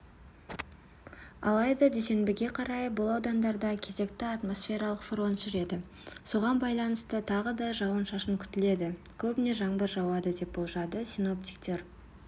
алайда дүйсенбіге қарай бұл аудандарда кезекті атмосфералық фронт жүреді соған байланысты тағы да жауын-шашын күтіледі көбіне жаңбыр жауады деп болжады синоптиктер